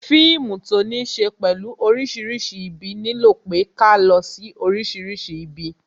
Fíìmù to ní ṣe pẹ̀lú orísìírísìí ibi, nílò pé ká lọ sí orísìírísìí ibi